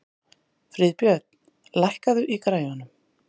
Friðbjörn, lækkaðu í græjunum.